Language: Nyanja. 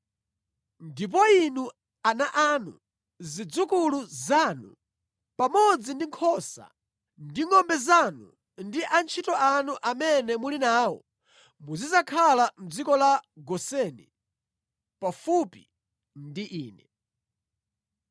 Ndipo inu, ana anu, zidzukulu zanu, pamodzi ndi nkhosa ndi ngʼombe zanu ndi antchito anu amene muli nawo muzidzakhala mʼdziko la Goseni pafupi ndi ine.